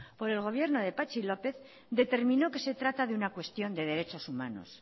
por el gobierno de patxi lópez determinó que se trata de una cuestión de derechos humanos